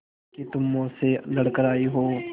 कि तुम मौत से लड़कर आयी हो